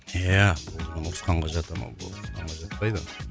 еее бұл ұрысқанға жата ма бұл ұрысқанға жатпайды